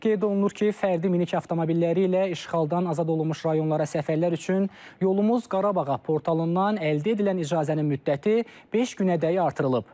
Qeyd olunur ki, fərdi minik avtomobilləri ilə işğaldan azad olunmuş rayonlara səfərlər üçün Yolumuz Qarabağa portalından əldə edilən icazənin müddəti beş günədək artırılıb.